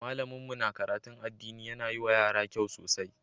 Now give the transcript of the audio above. Malamin mu na karatun addini yana yi wa yara kyau sosai.